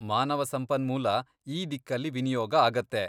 ಮಾನವ ಸಂಪನ್ಮೂಲ ಈ ದಿಕ್ಕಲ್ಲಿ ವಿನಿಯೋಗ ಆಗತ್ತೆ.